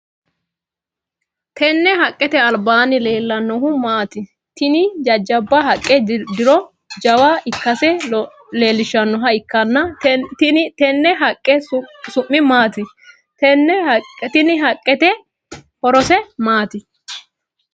Tenne haqete albaanni leelanohu maati? Tinni jajaba haqe diro jawa ikase leelishanoha ikanna tinne haqe su'mi maati? Tenne haqete horose maati?